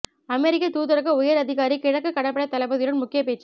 அமெரிக்கத் தூதரக உயர் அதிகாரி கிழக்கு கடற்படைத் தளபதியுடன் முக்கிய பேச்சு